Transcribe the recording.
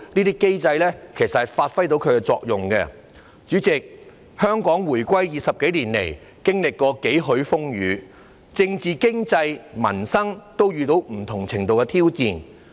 主席，自香港20多年前回歸以來，經歷過幾許風雨，政治經濟民生都遇到不同程度的挑戰。